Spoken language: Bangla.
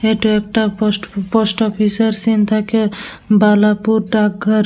এটা একটা পোস্ট পোস্ট অফিস -এর সিন্ থাকে বালাপুর ডাকঘর।